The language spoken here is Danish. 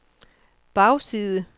bagside